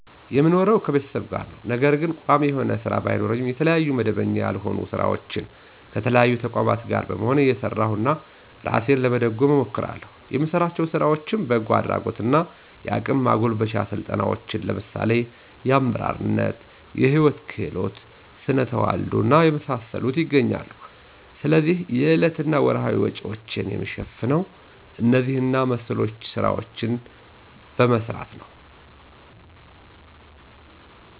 የምኖረው ከቤተሰብ ጋር ነው። ነገር ግን ቋሚ የሆነ ስራ ባይኖረኝ የተለያዩ መደበኛ ያልሆኑ ስራዎች ከተለያዩ ተቋማት ጋር በመሆን እየሰራሁ እራሴን ለመደጎም እሞክራለሁ። የምሰራቸው ስራዎችም በጎ አድራጎት እና የአቅም ማጎልበቻ ስልጠናዎችን ለምሳሌ አመራርነት፣ የህይወት ክህሎት፣ ስነተዋልዶ እና የመሳሰሉት ይገኛሉ። ስለዚህ የዕለት እና ወርሀዊ ወጭዎችን የምሸፍነው እነዚህ እና መሰሎች ስራዎችን በመስራት ነው።